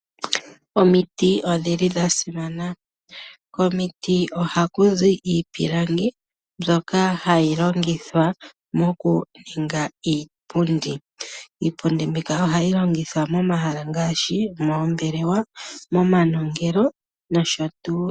Omiti odha simana. Komiti ohaku zi iipilangi mbyoka hayi longithwa mokuninga iipundi. Iipundi mbika ohayi longithwa momahala ngaashi moombelewa, momanongelo nosho tuu.